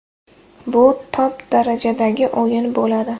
Bu top darajadagi o‘yin bo‘ladi.